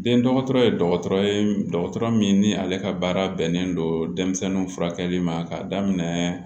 Den dɔgɔtɔrɔ ye dɔgɔtɔrɔ ye dɔgɔtɔrɔ min ni ale ka baara bɛnnen don denmisɛnninw furakɛli ma k'a daminɛ